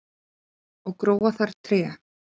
og gróa þar tré